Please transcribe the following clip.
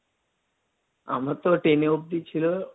আমার তো ten এ অব্দি ছিল,